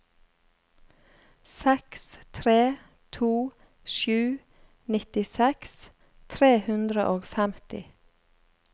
seks tre to sju nittiseks tre hundre og femti